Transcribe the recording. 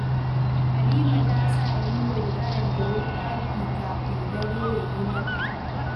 Halima ta sa niyyar karanta littafi kafin dare ya yi mata.